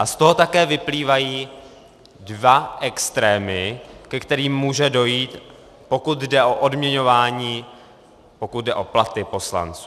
A z toho také vyplývají dva extrémy, ke kterým může dojít, pokud jde o odměňování, pokud jde o platy poslanců.